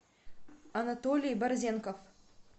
анатолий борзенков